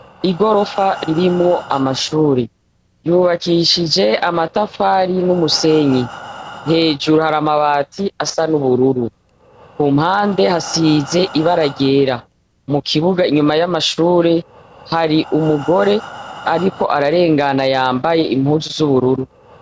Igorofa ririmwo amashure, yubakishije amatafari n'umusenyi, hejuru hari amabati asa n'ubururu, ku mpande hasize ibara ryera, mu kibuga inyuma y'amashure hari umugore ariko ararengana yambaye impuzu z'ubururu.